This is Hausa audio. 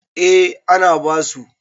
eh ana basu